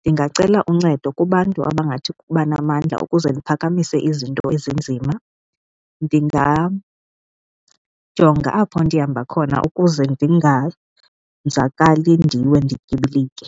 Ndingacela uncedo kubantu abangathi ukuba namandla ukuze ndiphakamise izinto ezinzima, ndingajonga apho ndihamba khona ukuze ndinganzakali ndiwe ndityibilike.